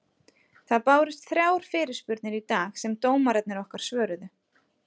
Það bárust þrjár fyrirspurnir í dag sem dómararnir okkar svöruðu.